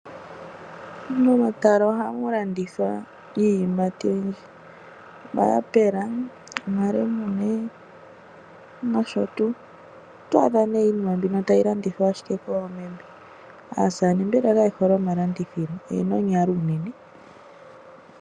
Momatala ohamu landithwa iiyimati oyindji, omayapula, omalemune nosho tuu. Oto adha iinima mbino tayi landithwa ashike koomeme. Ootate mbela kaye hole omalandithilo, oye na onyalo unene.